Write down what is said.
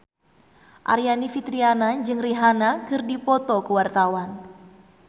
Aryani Fitriana jeung Rihanna keur dipoto ku wartawan